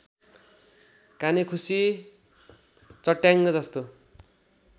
कानेखुसी चट्याङ्ग जस्तो